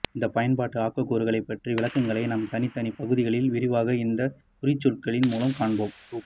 இந்த பயன்பாட்டு ஆக்கக்கூறுகளை பற்றிய விளக்கங்களை நாம் தனித்தனி பகுதிகளில் விரிவாக இந்த குறிச்சொற்களின் மூலம் காண்போம்